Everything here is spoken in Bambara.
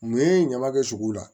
Mun ye ɲama kɛ sogo la